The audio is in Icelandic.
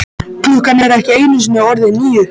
Klukkan er ekki einu sinni orðin níu.